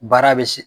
Baara bɛ se